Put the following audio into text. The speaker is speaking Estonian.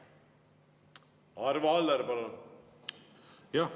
Arvo Aller, palun!